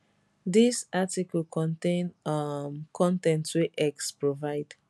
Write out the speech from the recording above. dis article contain um con ten t wey x provide